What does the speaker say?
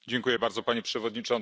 Panie Przewodniczący!